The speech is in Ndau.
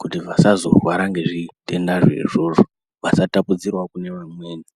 kuti vasazorwara ngezvitenda zvoizvozvo vasazotapudzirawo kune amweni.